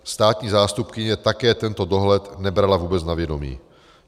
Státní zástupkyně také tento dohled nebrala vůbec na vědomí.